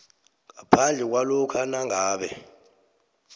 ngaphandle kwalokha nangabe